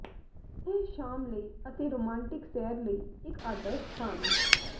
ਇਹ ਸ਼ਾਮ ਲਈ ਅਤੇ ਰੋਮਾਂਟਿਕ ਸੈਰ ਲਈ ਇੱਕ ਆਦਰਸ਼ ਸਥਾਨ ਹੈ